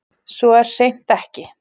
Svo er hreint ekki